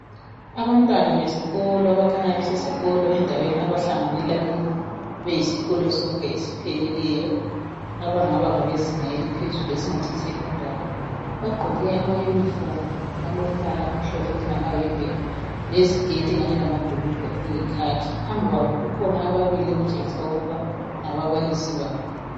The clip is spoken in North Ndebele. Abantwana besikolo abakhanya besesikolo endaweni abahlanganela kibo beyisikolo sonke esipheleleyo abangaba ngabezinga eliphezulu esingathi yisecondary. Bagqoke ama uniform alombala omhlophe okungamayembe leziketi Kanye lamabhulugwe okuyikhakhi. Phambi kwabo kukhona ababili okutshengisela ukuba ngababalisi babo.